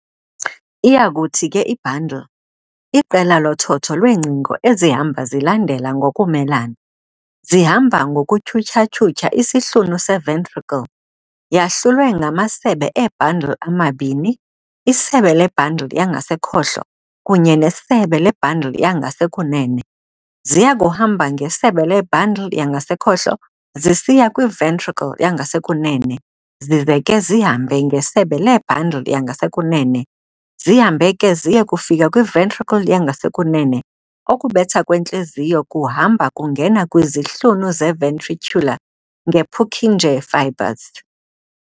Iyakuthi ke i-bundle, "iqela lothotho lweengcingo ezihamba zilandela ngokumelana", zihamba ngokutyhuthya-tyhutyha isihlunu se-ventricle, Yahlulwe yangamasebe ee-"bundle amabini, "isebe le-bundle yangasekhohlo kunye nesebe le-bundle yandasekunene. ziyakuhamba ngesebe le-bundle yangasekhohlo zisiya kwi-ventricle yangasekunene zize ke zihambe ngesebe lee-bundle yangasekunene lonzihambe ke ziye kufika kwi-ventricle yangasekunene, ukubetha kwentliziyo kuhamba kuye kungena kwizihlunu ze-ventricular nge-Purkinje Fibers.